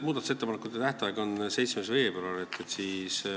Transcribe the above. Muudatusettepanekute esitamise tähtaeg on 7. veebruaril.